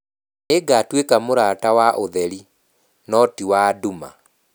Nĩngatuĩka mũrata wa ũtheri, no ti wa nduma.